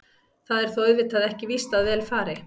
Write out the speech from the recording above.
Það er þó auðvitað ekki víst að vel fari.